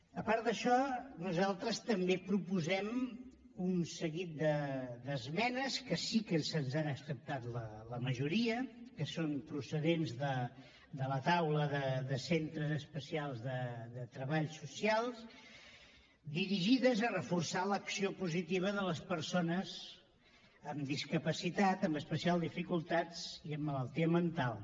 a part d’això nosaltres també proposem un seguit d’esmenes que sí que se’ns han acceptat la majoria que són procedents de la taula de centres especials de treball socials dirigides a reforçar l’acció positiva de les persones amb discapacitat amb especials dificultats i amb malaltia mental